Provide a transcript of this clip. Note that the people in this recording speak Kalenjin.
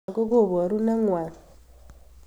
Lakok koparu naeng'wai